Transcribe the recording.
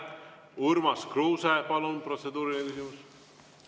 Urmas Kruuse, palun, protseduuriline küsimus!